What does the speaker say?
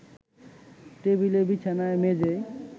টেবিলে, বিছানায়, মেঝেয়